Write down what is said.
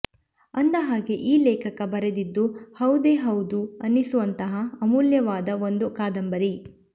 ಅಂದ ಹಾಗೆ ಈ ಲೇಖಕ ಬರೆದಿದ್ದು ಹೌದೇ ಹೌದು ಅನಿಸುವಂತಹ ಅಮೂಲ್ಯವಾದ ಒಂದು ಕಾದಂಬರಿ